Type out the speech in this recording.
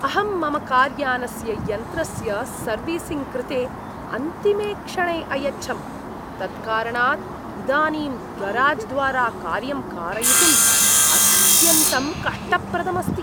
अहं मम कार्यानस्य यन्त्रस्य सर्विसिङ्ग् कृते अन्तिमे क्षणे अयच्छम्, तत्कारणात् इदानीं गराज्द्वारा कार्यं कारयितुम् अत्यन्तं कष्टप्रदम् अस्ति।